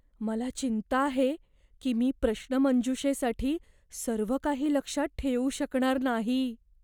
मला चिंता आहे की मी प्रश्नमंजुषेसाठी सर्व काही लक्षात ठेवू शकणार नाही.